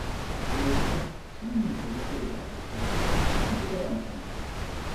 A wasu lokuta, samun taimako daga abokai yana da matukar amfani.